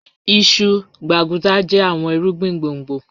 Ìṣù, gbàgúdà jẹ̀ àwọn ìrúgbìn gbọ̀ngbò